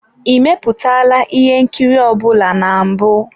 Ị mepụtala ihe nkiri ọ bụla na mbụ?